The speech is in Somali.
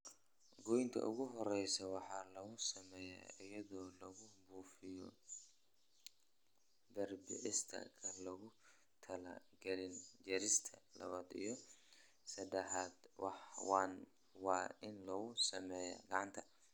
Goynta ugu horeysa waxaa lagu sameeyaa iyadoo lagu buufiyo herbicides-ka lagu taliyay laakiin jarista labad iyo sadahad waa in lagu sameeyaa gacanta.